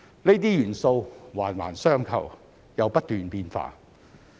這些元素環環相扣又不斷變化。